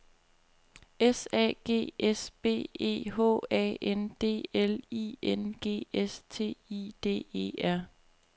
S A G S B E H A N D L I N G S T I D E R